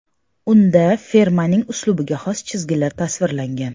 Unda firmaning uslubiga xos chizgilari tasvirlangan.